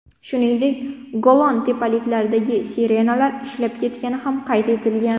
Shuningdek, Golan tepaliklaridagi sirenalar ishlab ketgani ham qayd etilgan.